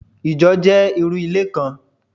Ìjọ jẹ́ irú ilé kan